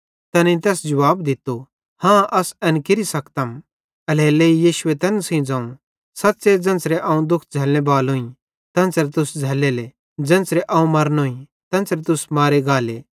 तैनेईं तैस जुवाब दित्तो हाँ अस एन केरि सकतम एल्हेरेलेइ यीशुए तैन सेइं ज़ोवं सच़्च़े ज़ेन्च़रे अवं दुख झ़लने बालोईं तेन्च़रे तुस झ़ल्लेले ज़ेन्च़रे अवं मारनोईं तेन्च़रे तुस मारे गाले